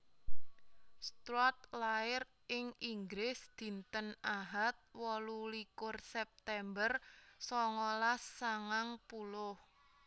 Stuart lair ing Inggris dinten Ahad wolu likur September songolas sangang puluh